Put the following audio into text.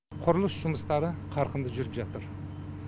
құрылыс жұмыстары қарқынды жүріп жатыр